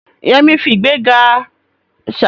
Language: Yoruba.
Yemi fi ìgbéraga ṣàfihàn gele rẹ̀